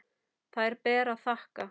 Þær ber að þakka.